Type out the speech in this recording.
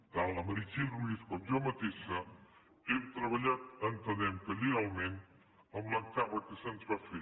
tant la meritxell ruiz com jo mateixa hem treballat entenem que lleialment en l’encàrrec que se’ns va fer